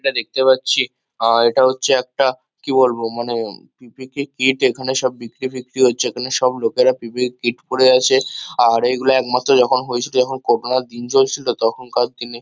আমরা দেখতে পাচ্ছি আ এটা হচ্ছে একটা কি বলবো মানে পি.পি_ই কিট এখানে সব বিক্রী-ফিকরি হচ্ছে। এখানে সব লোকেরা পি.পি.ই কিট পড়ে আছে। আর এইগুলো একমাত্র যখন হয়েছিল যখন করোনা -র দিন চলছিল তখনকার দিনে।